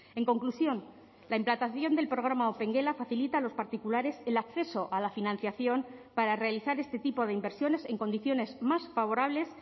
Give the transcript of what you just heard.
en conclusión la implantación del programa opengela facilita a los particulares el acceso a la financiación para realizar este tipo de inversiones en condiciones más favorables